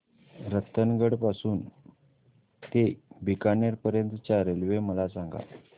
रतनगड पासून ते बीकानेर पर्यंत च्या रेल्वे मला सांगा